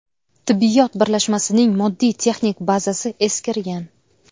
Tibbiyot birlashmasining moddiy texnik bazasi eskirgan.